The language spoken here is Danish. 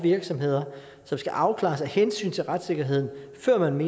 virksomheder som skal afklares af hensyn til retssikkerheden før man